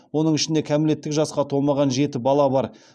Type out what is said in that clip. оның ішінде кәмелеттік жасқа толмаған жеті бала бар